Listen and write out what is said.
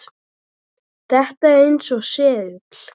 Þetta er eins og segull.